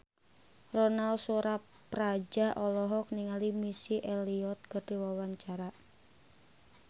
Ronal Surapradja olohok ningali Missy Elliott keur diwawancara